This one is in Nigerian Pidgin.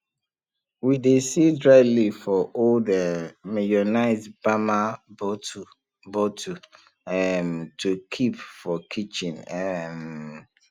we dey seal dry leaf for old um mayonnaise bamma bottle bottle um to keep for kitchen um